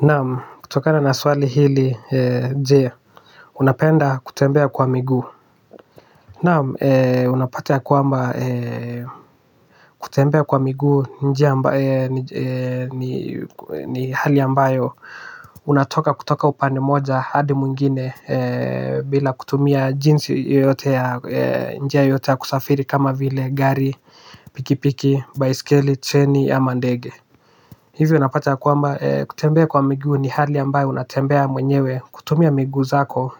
Naam kutokana na swali hili je unapenda kutembea kwa miguu. Naam unapata ya kwamba kutembea kwa miguu njia ambaye ni hali ambayo unatoka kutoka upande moja hadi mwingine bila kutumia jinsi yoyote ya njia yoyote ya kusafiri kama vile gari pikipiki baiskeli treni ama ndenge. Hizi unapata ya kwamba kutembea kwa miguu ni hali ambayo unatembea mwenyewe kutumia miguu zako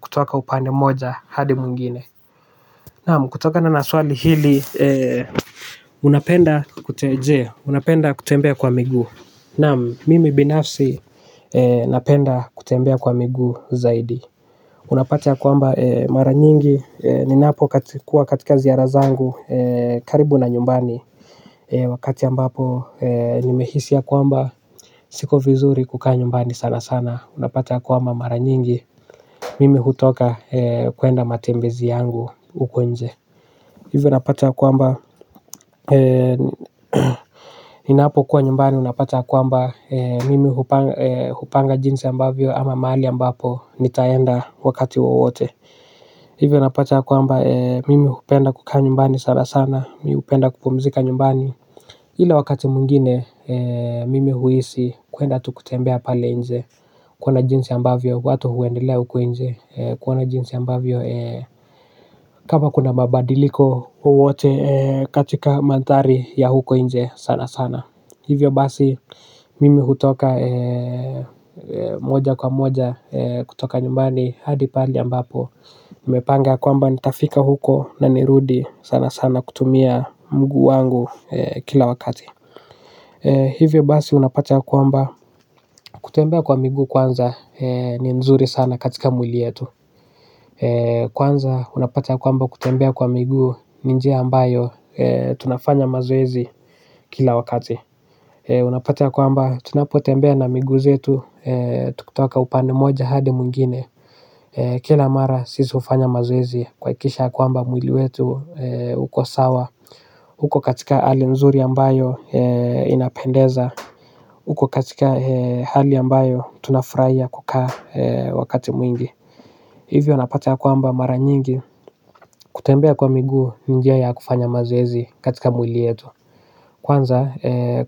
kutoka upande moja hadi mwingine. Naam kutoka na swali hili unapenda kutembea kwa miguu naam mimi binafsi napenda kutembea kwa miguu zaidi. Unapata ya kwamba mara nyingi ni napo kuwa katika ziara zangu karibu na nyumbani. Wakati ambapo nimehisi ya kwamba siko vizuri kukaa nyumbani sana sana unapata ya kwamba mara nyingi mimi hutoka kuenda matembezi yangu uko nje. Hivyo napata ya kwamba ninapo kuwa nyumbani unapata ya kwamba mimi hupanga jinsi ambavyo ama mahali ambapo nitaenda wakati wowote. Hivyo napata ya kwamba mimi hupenda kukaa nyumbani sana sana mi hupenda kupumzika nyumbani ila wakati mwingine mimi huhisi kuenda tu kutembea pale nje kuona jinsi ambavyo watu huendelea huku nje kuona jinsi ambavyo kama kuna mabadiliko wowote katika mandhari ya huko nje sana sana. Hivyo basi mimi hutoka moja kwa moja kutoka nyumbani hadi pali ambapo nimepanga ya kwamba nitafika huko na nirudi sana sana kutumia mguu wangu kila wakati. Hivyo basi unapata ya kwamba kutembea kwa miguu kwanza ni nzuri sana katika mwili yetu. Kwanza unapata ya kwamba kutembea kwa miguu ni njia ambayo tunafanya mazoezi kila wakati. Unapata ya kwamba tunapotembea na miguu zetu tukutoka upande moja hadi mwingine. Kila mara sisi hufanya mazoezi kuhakikisha ya kwamba mwili wetu uko sawa uko katika hali nzuri ambayo inapendeza. Uko katika hali ambayo tunafurahia kukaa wakati mwingi. Hivyo napata ya kwamba mara nyingi kutembea kwa miguu ni njia ya kufanya mazoezi katika mwili yetu. Kwanza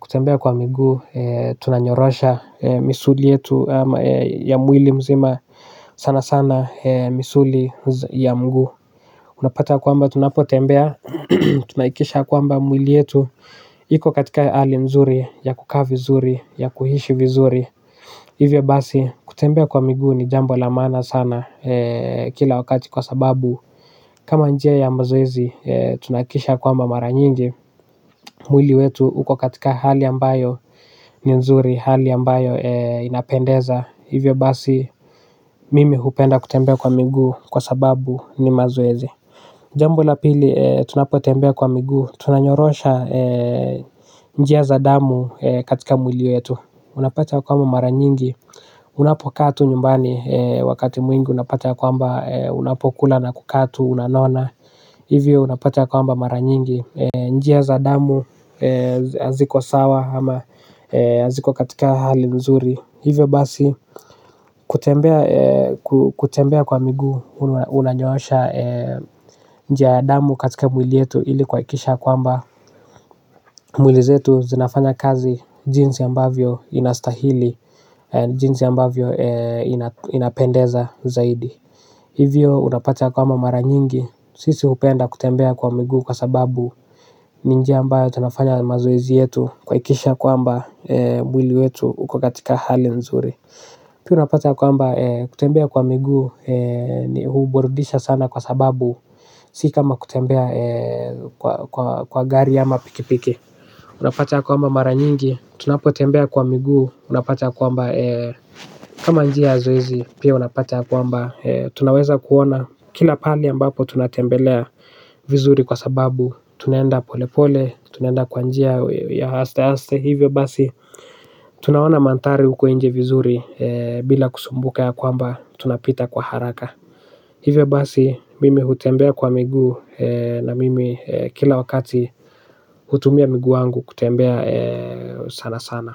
kutembea kwa miguu tunanyorosha misuli yetu ya mwili mzima sana sana misuli ya mguu. Unapata ya kwamba tunapotembea tunahakikisha ya kwamba mwili yetu. Iko katika hali nzuri ya kukaa vizuri ya kuishi vizuri. Hivyo basi kutembea kwa miguu ni jambo la maana sana kila wakati kwa sababu kama njia ya mazoezi tunahakikisha ya kwamba mara nyingi. Mwili wetu uko katika hali ambayo ni nzuri hali ambayo inapendeza. Hivyo basi mimi hupenda kutembea kwa miguu kwa sababu ni mazoezi. Jambo la pili tunapotembea kwa miguu. Tunanyorosha njia za damu katika mwili yetu. Unapata ya kwamba mara nyingi. Unapokaa tu nyumbani wakati mwingi. Unapata ya kwamba unapokula na kukaa tu unanona. Hivyo unapata ya kwamba mara nyingi. Njia za damu haziko sawa ama haziko katika hali nzuri. Hivyo basi kutembea kutembea kwa miguu. Unanyorosha njia ya damu katika mwili yetu ili kuhakikisha ya kwamba mwili zetu zinafanya kazi jinsi ambavyo ina stahili jinsi ambavyo inapendeza zaidi hivyo unapata ya kwamba mara nyingi sisi hupenda kutembea kwa migu kwa sababu ni njia ambayo tunafanya mazoezi yetu kuhakikisha ya kwamba mwili wetu uko katika hali nzuri pia unapata ya kwamba kutembea kwa miguu huburudisha sana kwa sababu si kama kutembea kwa kwa kwa gari ama pikipiki. Unapata ya kwamba mara nyingi. Tunapo tembea kwa migu. Unapata ya kwamba kama njia ya zoezi pia unapata ya kwamba tunaweza kuona. Kila pali ambapo tunatembelea vizuri kwa sababu tunaenda pole pole. Tunaenda kwa njia ya asteaste. Hivyo basi tunaona mandhari uko inje vizuri. Bila kusumbuka ya kwamba tunapita kwa haraka. Hivyo basi mimi hutembea kwa miguu na mimi kila wakati hutumia miguu wangu kutembea sana sana.